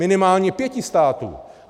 Minimálně pěti států.